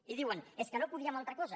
i diuen és que no podíem altra cosa